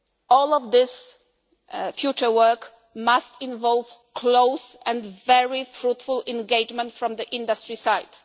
All of this future work must involve close and very fruitful engagement from the industry